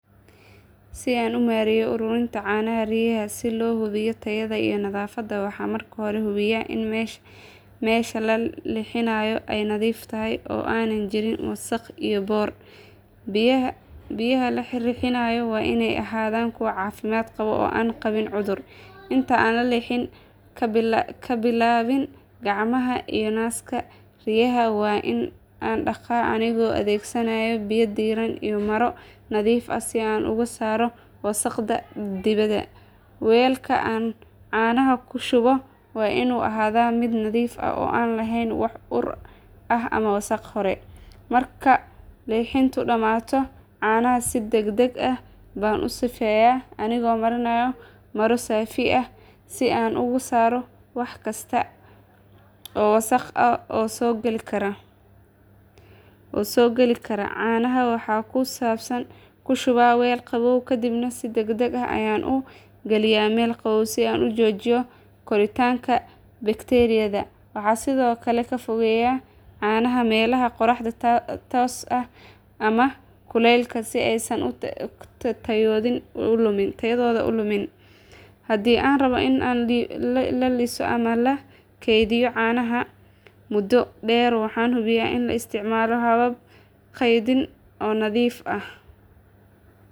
Si aan u maareeyo ururinta caanaha riyaha si loo hubiyo tayada iyo nadaafadda waxaan marka hore hubiyaa in meesha la lixinayo ay nadiif tahay oo aanay jirin wasakh iyo boodh. Riyaha la lixinayo waa inay ahaadaan kuwo caafimaad qaba oo aan qabin cudur. Inta aan lixin ka bilaabin gacmahayga iyo naaska riyaha waan dhaqaa anigoo adeegsanaya biyo diiran iyo maro nadiif ah si aan uga saaro wasakhda dibadda. Weelka aan caanaha ku shubo waa inuu ahaadaa mid nadiif ah oo aan lahayn wax ur ah ama wasakh hore. Marka lixintu dhammaato caanaha si degdeg ah baan u sifeynayaa anigoo mariya maro saafi ah si aan uga saaro wax kasta oo wasakh ah oo soo gali kara. Caanaha waxaan ku shubaa weel qabow kadibna si degdeg ah ayaan u galinayaa meel qabow si aan u joojiyo koritaanka bakteeriyada. Waxaan sidoo kale ka fogeeyaa caanaha meelaha qorraxda tooska ah ama kuleylka si aysan tayadooda u lumin. Haddii aan rabbo in la iibiyo ama la keydiyo caanaha muddo dheer waxaan hubiyaa in la isticmaalo habab kaydin nadiif ah.